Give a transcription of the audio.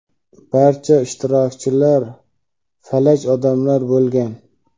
Barcha ishtirokchilar falaj odamlar bo‘lgan.